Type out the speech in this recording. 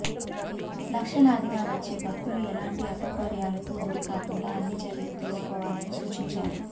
లక్షలాదిగా వచ్చే భక్తులు ఎలాంటి అసౌకర్యాలకు గురికాకుండా అన్ని చర్యలు తీసుకోవాలని సూచించారు